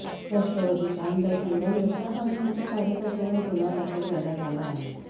राष्ट्रवादीचे आमदार संग्राम जगताप आणि त्यांच्या कार्यकर्त्यांवर गुन्हा दाखल करण्यात आला आहे